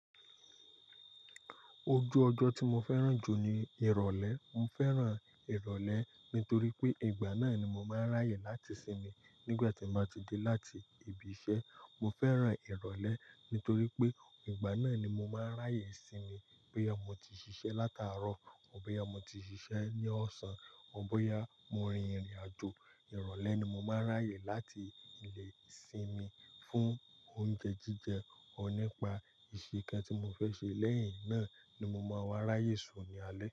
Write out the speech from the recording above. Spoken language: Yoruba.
Ojú ọjọ́ tí mo fẹ́ràn jù ni ìrọ̀lẹ́. Mo fẹ́ràn ìrọ̀lẹ́ nítorí pé ìgbà náà ni mo máa ń ráyè láti sinmi nígbà tí n bá ti dé láti ibi iṣẹ́. Mo fẹ́ràn ìrọ̀lẹ́ nítorí pé ìgbà náà ni mo máa ń ráyè sinmi bóyá mo ti ṣiṣẹ́ látàárọ̀ ó bóyá mo ti ṣiṣẹ́ ní ọ̀sán ó bóyá mo rin ìrìn àjò. Ìrọ̀lẹ́ ni mo máa ń ráyè láti lé sinmi fún oúnjẹ jíjẹ ó nípa ìṣe kan tí mo fẹ́ ṣe lẹ́yìn náà ni mo máa wá ráyè sùn ní alẹ́